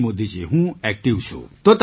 જી મોદીજી હું ઍક્ટિવ છું